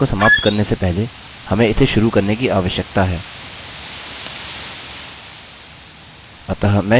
सबसे पहले अपने सेशन को समाप्त करने से पहले हमें इसे शुरू करने की आवश्यकता है